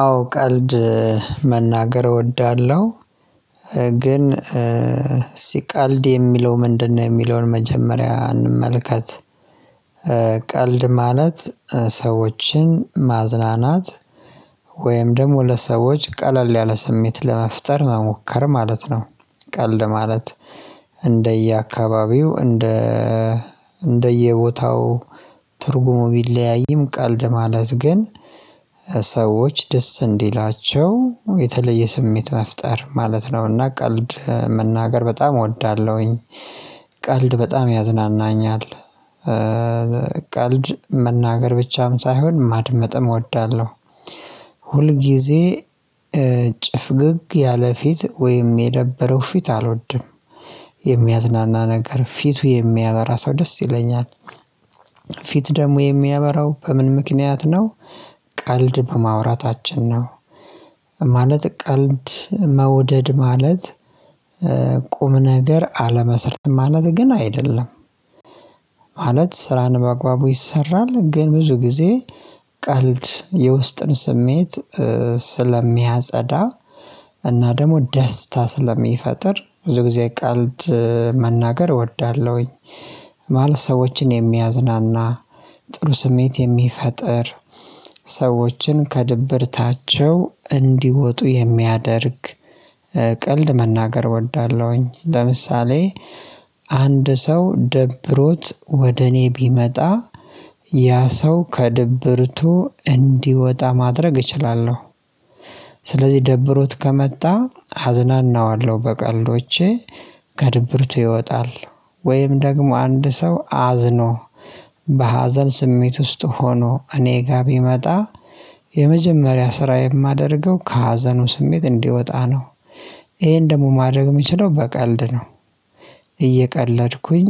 አዎ ቀልድ መናገር እወዳለሁ። ግን ሲቀልድ የሚለው ምንድነው የሚለውን መጀመሪያ እንመልከት። ቀልድ ማለት ሰዎችን ማዝናናት ወይም ደግሞ ለሰዎች ቀለል ያለ ስሜት ለመፍጠር መሞከር ማለት ነው። ቀልድ ማለት እንደየአካባቢው እንደ እንደየቦታው ትርጉሙ ቢለያይም ቀልድ ማለት ግን ሰዎች ደስ እንዲላቸው የተለየ ስሜት መፍጠር ማለት ነውና ቀልድ መናገር በጣም እወዳለሁኝ። ቀልድ በጣም ያዝናናኛል። ቀልድ መናገር ብቻም ሳይሆን ማድመጥም እወዳለሁ። ሁልጊዜ ጭፍግግ ያለ ፊት ወይም የደበረው ፊት አልወድም። የሚያዝናና ነገር ፊቱ የሚያበራ ሰው ደስ ይለኛል። ፊት ደግሞ የሚያበራው በምን ምክንያት ነው ቀልድ በማውራታችን ነው። ማለት ቀልድ መውደድ ማለት ቁም ነገር አለመሰረትም ማለት ግን አይደለም። ማለት ስራን በአግባቡ ይሰራል ግን ብዙ ጊዜ ቀልድ የውስጥን ስሜት ስለሚያጸዳ እና ደግሞ ደስታ ስለሚፈጥር ብዙ ጊዜ ቀልድ መናገር እወዳለሁኝ። ማለት ሰዎችን የሚያዝናና፣ ጥሩ ስሜት የሚፈጥር፣ ሰዎችን ከድብርታቸው እንዲወጡ የሚያደርግ ቀልድ መናገር እወዳለሁኝ። ለምሳሌ አንድ ሰው ደብሮት ወደ እኔ ቢመጣ ያ ሰው ከድብርቱ እንዲወጣ ማድረግ እችላለሁ። ስለዚህ ደብሮት ከመጣ አዝናናዋለሁ በቀልዶቼ። ከድብርት ይወጣል። ወይም ደግሞ አንድ ሰው አዝኖ በሀዘን ስሜት ውስጥ ሆኖ እኔ ጋር ቢመጣ የመጀመሪያ ስራ የማደርገው ከሀዘኑ ስሜት እንዲወጣ ነው። ይሄን ደግሞ ማድረግ የምችለው በቀልድ ነው። እየቀለድኩኝ